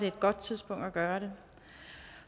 et godt tidspunkt at gøre det